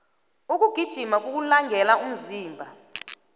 ukugijima kuwulangele umzimba